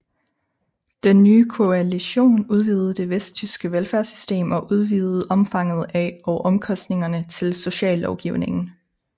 Den nye koalition udvidede det vesttyske velfærdssystem og udvidede omfanget af og omkostningerne til sociallovgivningen